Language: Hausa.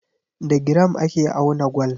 Da giram ake auna gwal.